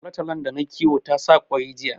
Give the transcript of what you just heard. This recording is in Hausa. Tolotolon da nayi kiwo ta sa ƙoyi jiya